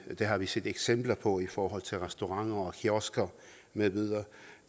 det har vi set eksempler på i forhold til restauranter kiosker med videre